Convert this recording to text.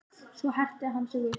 Svo herti hann sig upp.